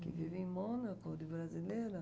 Que vivem em Mônaco, de brasileira...